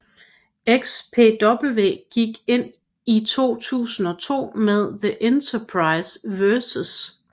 XPW gik ind i 2002 med The Enterprise vs